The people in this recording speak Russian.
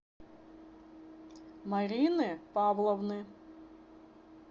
марины павловны